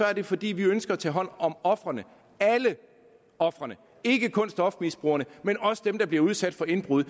er det fordi vi ønsker at tage hånd om ofrene alle ofrene ikke kun stofmisbrugerne men også dem der bliver udsat for indbrud